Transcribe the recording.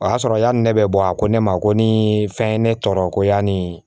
O y'a sɔrɔ yani ne bɛ bɔ a ko ne ma ko ni fɛn ye ne tɔɔrɔ ko ya ni